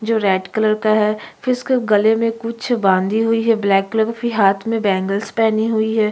जो red colour का है फिर उसके गले में कुछ बांधी हुई है ब्लैक कलर की हाथ में बैंगल्स पहनी हुई है।